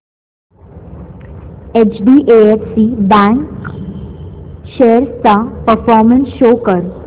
HDFC bank shares चा performance show कर